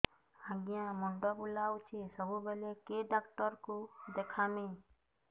ଆଜ୍ଞା ମୁଣ୍ଡ ବୁଲାଉଛି ସବୁବେଳେ କେ ଡାକ୍ତର କୁ ଦେଖାମି